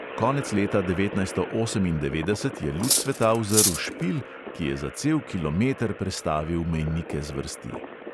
Konec leta devetnajststo osemindevetdeset je luč sveta uzrl špil, ki je za cel kilometer prestavil mejnike zvrsti.